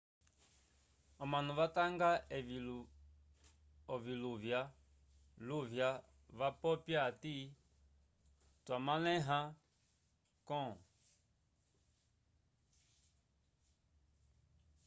omanu vatanga evi oviluvya luvya vapopya ati twa malehela com